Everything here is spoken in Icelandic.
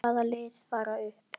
Hvaða lið fara upp?